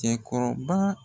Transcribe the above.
Cɛkɔrɔba